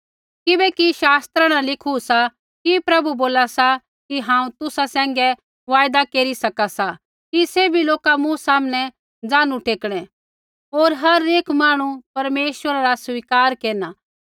किबैकि शास्त्रा न लिखू सा कि प्रभु बोला सा कि हांऊँ तुसा सैंघै वायदा केरी सका सा कि सैभी लोका मूँ सामनै ज़ानू टेकणै होर हर एक मांहणु परमेश्वरा रा स्वीकार केरना